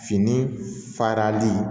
Fini farali